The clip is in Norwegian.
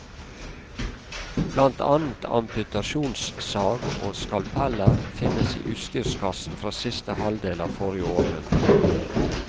Blant annet amputasjonssag og skalpeller finnes i utstyrskassen fra siste halvdel av forrige århundre.